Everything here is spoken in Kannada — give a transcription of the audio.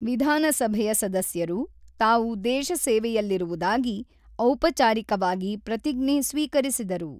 ವಿಧಾನಸಭೆಯ ಸದಸ್ಯರು ತಾವು ದೇಶ ಸೇವೆಯಲ್ಲಿರುವುದಾಗಿ ಔಪಚಾರಿಕವಾಗಿ ಪ್ರತಿಜ್ಞೆ ಸ್ವೀಕರಿಸಿದರು.